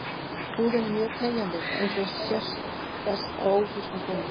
Húðin er mjög teygjanleg eins og best sést á ófrískum konum.